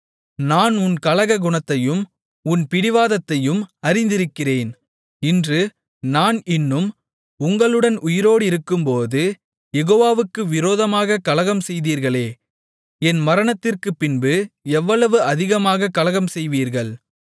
நான் உன் கலக குணத்தையும் உன் பிடிவாதத்தையும் அறிந்திருக்கிறேன் இன்று நான் இன்னும் உங்களுடன் உயிரோடிருக்கும்போது யெகோவாவுக்கு விரோதமாகக் கலகம்செய்தீர்களே என் மரணத்திற்குப்பின்பு எவ்வளவு அதிகமாகக் கலகம்செய்வீர்கள்